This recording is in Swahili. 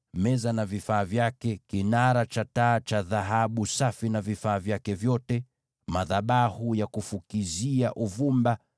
meza na vifaa vyake, kinara cha taa cha dhahabu safi na vifaa vyake vyote, madhabahu ya kufukizia uvumba,